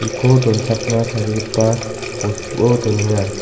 ko donchakna tarigipa bostuo donenga.